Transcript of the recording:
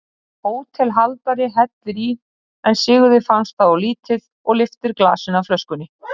Hótelhaldari hellir í en Sigurði finnst það of lítið og lyftir glasinu að flöskunni.